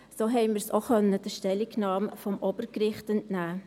Das konnten wir auch der Stellungnahme des Obergerichts entnehmen.